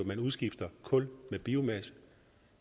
man udskifter kul med biomasse